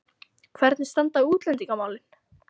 Hvernig standa útlendingamálin?